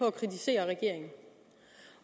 at kritisere regeringen